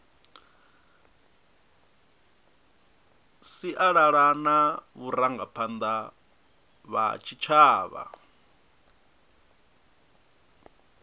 sialala na vharangaphanda vha tshitshavha